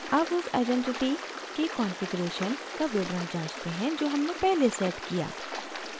अब उस आइडेंटिटी के कॉन्फ़िगरेशन का विवरण जाँचते हैं जो हमने पहले set किया